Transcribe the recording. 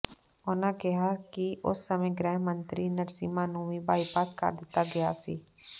ਉਨ੍ਹਾਂ ਕਿਹਾ ਕਿ ਉਸ ਸਮੇ ਗ੍ਰਹਿ ਮੰਤਰੀ ਨਰਸਿਮ੍ਹਾ ਨੂੰ ਵੀ ਬਾਈਪਾਸ ਕਰ ਦਿੱਤਾ ਗਿਆ ਸੀ